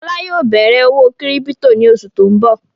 Fọlá yóò bẹ̀rẹ̀ òwò kírípító ní oṣù tó ń bọ̀.